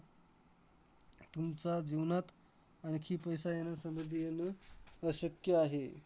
तुमचा जीवनात आणखी पैसा येणं, समृद्धी येणं अशक्य आहे.